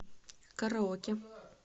караоке